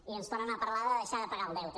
i ens tornen a parlar de deixar de pagar el deute